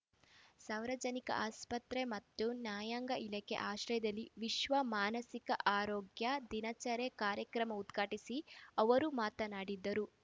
ಸಾವರಜನಿಕ ಆಸ್ಪತ್ರೆ ಮತ್ತು ನ್ಯಾಯಾಂಗ ಇಲಾಖೆ ಆಶ್ರಯದಲ್ಲಿ ವಿಶ್ವ ಮಾನಸಿಕ ಆರೋಗ್ಯ ದಿನಾಚರಣೆ ಕಾರ್ಯಕ್ರಮ ಉದ್ಘಾಟಿಸಿ ಅವರು ಮಾತನಾಡಿದರು